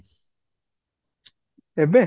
ଏବେ?